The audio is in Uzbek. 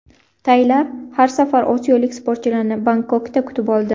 Taylar har safar osiyolik sportchilarni Bangkokda kutib oldi.